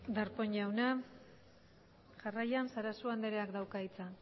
darpón jauna jarraian sarasua andreak dauka hitza